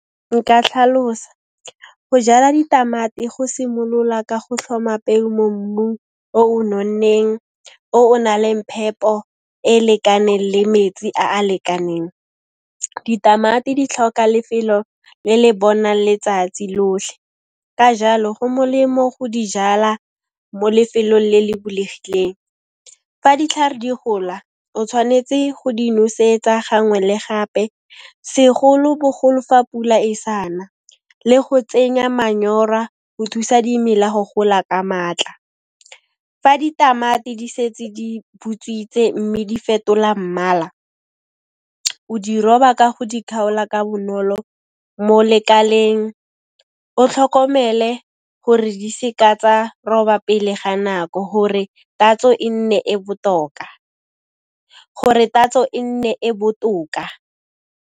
Nka tlhalosa. Go jala ditamati go simolola ka go tlhoma peu mo mmung o o nonneng, o o na leng phepo e lekaneng le metsi a a lekaneng. Ditamati di tlhoka lefelo le le bona letsatsi lotlhe, ka jalo go molemo go di jala mo lefelong le le bulegileng. Fa ditlhare di gola, o tshwanetse go di nosetsa gangwe le gape segolo-bogolo fa pula e sa na, le go tsenya manyora go thusa dimela go gola ka maatla. Fa ditamati di setse di butswitse mme di fetola mmala, o di roba ka go di khaola ka bonolo mo lekaleng, o tlhokomele gore di seka tsa roba pele ga nako gore tatso e nne e botoka.